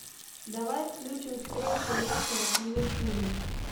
давай включим встречу лестера с ливерпулем